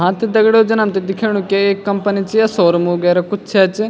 हाँ त दगडियों जन हमथे दिखेणु की एक कंपनी च या शोरूम वगैरा कुछ छैंच।